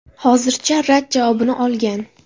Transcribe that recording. Hozircha rad javobini olgan.